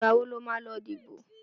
Ìgbà wo lo máa lọ dìbò?